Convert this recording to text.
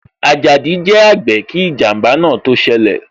Ajadi jẹ àgbè kí ijanba náà tó ṣẹlẹ̀